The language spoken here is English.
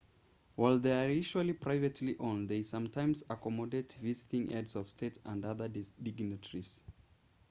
while they are usually privately owned they sometimes accommodate visiting heads of state and other dignitaries